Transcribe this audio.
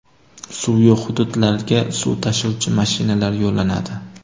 Suv yo‘q hududlarga suv tashuvchi mashinalar yo‘llanadi.